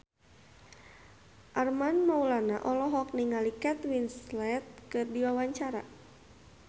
Armand Maulana olohok ningali Kate Winslet keur diwawancara